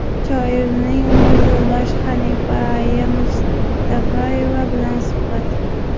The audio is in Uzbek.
Shoirning umr yo‘ldoshi Xanifa aya Mustafayeva bilan suhbat .